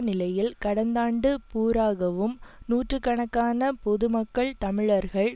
நிலையில் கடந்தாண்டு பூராகவும் நூற்றுக்காண பொது மக்கள் தமிழர்கள்